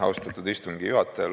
Austatud istungi juhataja!